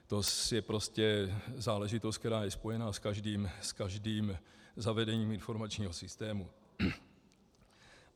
To je prostě záležitost, která je spojena s každým zavedením informačního systému.